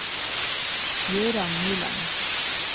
Jøran Nyland